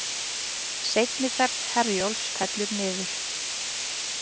Seinni ferð Herjólfs fellur niður